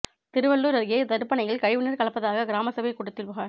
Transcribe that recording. திருவள்ளூா் அருகே தடுப்பணையில் கழிவு நீா் கலப்பதாக கிராம சபைக் கூட்டத்தில் புகாா்